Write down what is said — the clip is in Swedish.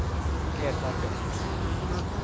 Edvard Bäck